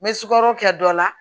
N bɛ sukaro kɛ dɔ la